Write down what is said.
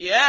يَا